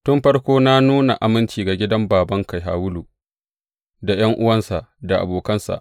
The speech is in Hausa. Tun farko na nuna aminci ga gidan babanka Shawulu, da ’yan’uwansa, da abokansa!